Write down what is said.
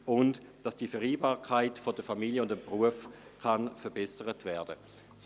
Sie sorgen dafür, dass die Vereinbarkeit von Familie und Beruf verbessert werden kann.